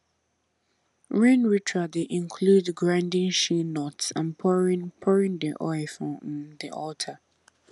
rain ritual dey include grinding shea nut and pouring pouring the oil for um the altar